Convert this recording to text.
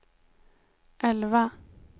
elva